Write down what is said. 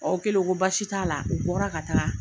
O kɛlen o ko baasi t'a la, u bɔra ka taa,